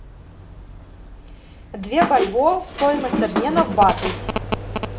две бальбоа стоимость обмена в баты